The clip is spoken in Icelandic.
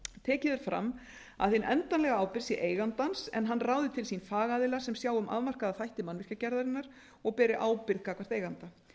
tekið er fram að hin endanlega ábyrgð sé eigandans en hann ráði til sín fagaðila sem sjái um afmarkaða þætti mannvirkjagerðarinnar og beri ábyrgð gagnvart eiganda